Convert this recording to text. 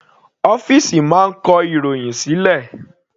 Ọ́fìsì máa ń kọ ìròhìn sílẹ̀.